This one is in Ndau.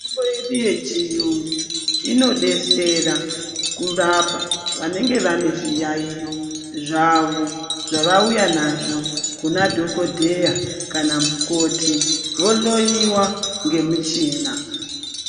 Mitombo yedu yechiyungu, inodetsera kurapa vanenge vane zviyaiyo zvavo zvavauya nazvo kunadhokodheya kana mukoti, vohloiwa ngemichina.